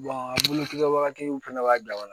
kɛ wagati min fɛnɛ b'a jaba la